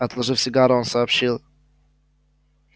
отложив сигару он сообщил